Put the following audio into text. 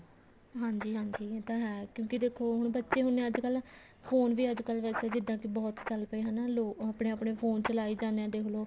ਹਾਂਜੀ ਹਾਂਜੀ ਇਹ ਤਾਂ ਹੈ ਕਿਉਂਕਿ ਦੇਖੋ ਬੱਚੇ ਹੁੰਦੇ ਆ ਅੱਜਕਲ phone ਵੀ ਅੱਜਕਲ ਵੈਸੇ ਜਿੱਦਾਂ ਕੇ ਬਹੁਤ ਚੱਲ ਪਏ ਲੋਕ ਆਪਣੇ ਆਪਣੇ phone ਚਲਾਈ ਜਾਂਦੇ ਆ ਦੇਖਲੋ